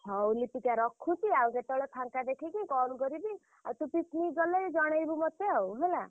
ହଉ ଲିପିକା ରଖୁଛି ଆଉ କେତବେଳେ ଫାଙ୍କା ଦେଖିକି call କରିବି। ଆଉ ତୁ picnic ଗଲେ ଜଣେଇବୁ ମତେ ଆଉ ହେଲା।